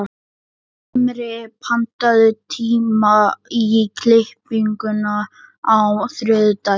Himri, pantaðu tíma í klippingu á þriðjudaginn.